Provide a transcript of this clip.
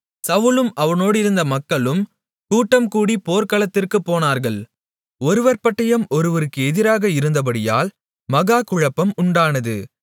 சவுலும் அவனோடிருந்த மக்களும் கூட்டம் கூடிப் போர்க்களத்திற்குப் போனார்கள் ஒருவர் பட்டயம் ஒருவருக்கு எதிராக இருந்தபடியால் மகா குழப்பம் உண்டானது